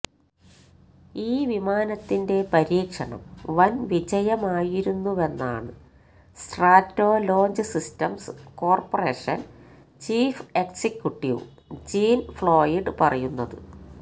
ഈ വിമാനത്തിന്റെ പരീക്ഷണം വന് വിജയമായിരുന്നുവെന്നാണ് Stratolaunch systems corporation chief executive Jean Floyd പറയുന്നത്